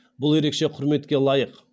бұл ерекше құрметке лайық